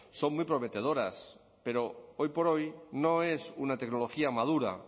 son muy prometedoras pero hoy por hoy no es una tecnología madura